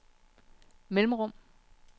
mellemrum